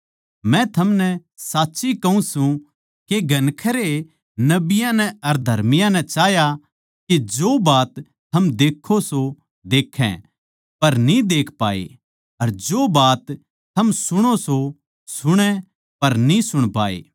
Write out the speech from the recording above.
क्यूँके मै थमनै साच्ची कहूँ सूं के घणखरे नबियाँ नै अर धर्मियाँ नै चाह्या के जो बात थम देक्खो सो देक्खै पर न्ही देक्खी अर जो बात थम सुणो सो सुणै पर न्ही सुणी